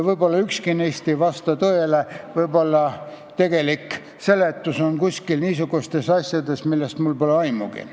Võib-olla ükski neist ei vasta tõele, võib-olla tegelik seletus on niisugune, millest mul pole aimugi.